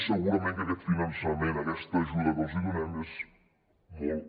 i segurament aquest finançament aquesta ajuda que els donem és molt